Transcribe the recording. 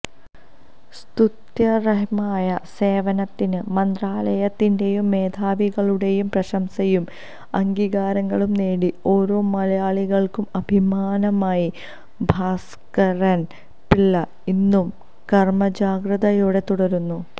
സ്തുത്യര്ഹമായ സേവനത്തിന് മന്ത്രാലയത്തിന്റെയും മേധാവികളുടെയും പ്രശംസയും അംഗീകാരങ്ങളും നേടി ഓരോ മലയാളികള്ക്കും അഭിമാനമായി ഭാസ്കരന് പിള്ള ഇന്നും കര്മജാഗ്രതയോടെ തുടരുന്നു